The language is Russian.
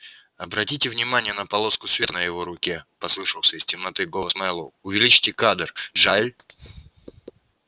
обратите внимание на полоску света на его руке послышался из темноты голос мэллоу увеличьте кадр джаэль